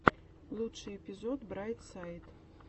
лучший эпизод брайт сайд